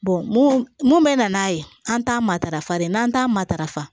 mun mun mɛ na n'a ye an t'a matarafa de n'an t'a matarafa